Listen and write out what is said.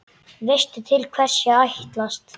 Veistu til hvers ég ætlast?